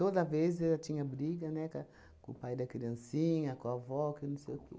vez eu tinha briga, né, ca com o pai da criancinha, com a avó, que não sei o quê.